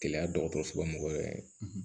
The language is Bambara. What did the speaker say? Gɛlɛya dɔgɔtɔrɔso la mɔgɔ yɛrɛ ye